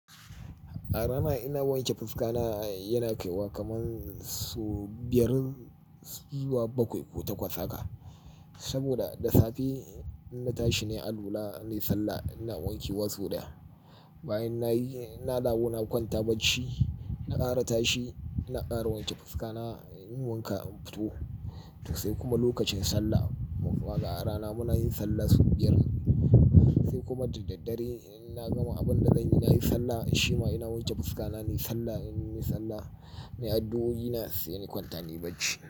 A rana ina wanke fuska na yana kaiwa kaman su biyar zuwa bakwai ko takwas haka. Saboda da safe inna tashi nai alwala na yi sallah ina wanke wa sau daya. Bayan nayi inna dawo na kwanta bacci, na ƙara tashi na ƙara wanke fuska na, in wanka in fito. To sai kuma lokacin sallah, kuma ga a rana muna yin sallah sau biyar sai kuma da daddare inna gama abin da zanyi nayi sallah, shi ma ina wanke fuska na, nayi sallah, ina yi sallah, na yi addu'oi na sai ni kwanta ni bacci.